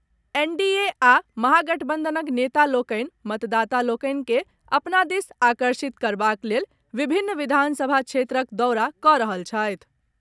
NDA आ महागठबंधनक नेता लोकनि मतदाता लोकनि के अपना दिस आकर्षित करबाक लेल विभिन्न विधानसभा क्षेत्रक दौरा कऽ रहल छथि।